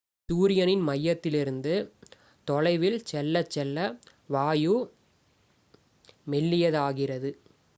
சூரியனின் மையத்திலிருந்து தொலைவில் செல்லச் செல்ல வாயு மெல்லியதாகிறது